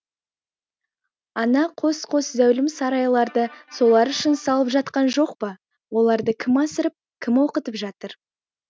ана қос қос зәулім сарайларды солар үшін салып жатқан жоқ па оларды кім асырап кім оқытып жатыр